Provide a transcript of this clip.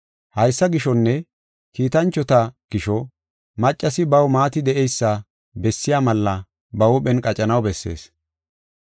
Haysa gishonne kiitanchota gisho maccasi baw maati de7eysa bessiya malla ba huuphen qacanaw bessees.